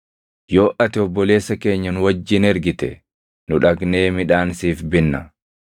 Yoo ati obboleessa keenya nu wajjin ergite nu dhaqnee midhaan siif binna.